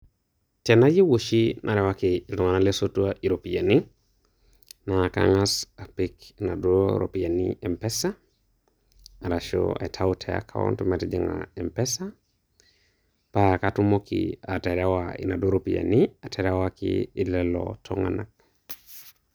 Tenaiyeu oshi narewaki iltung'ana losotua iropiani, naa kang'as apik naduo ropiani m-pesa, arashu aitayu te akaont metijinga m-pesa paa kaatumoki aterewa naduo ropiani, aterewaki lelo tunganak.